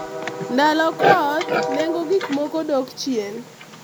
msimu wa mvua bei ya bidhaa hupungua